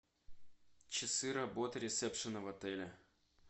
часы работы ресепшена в отеле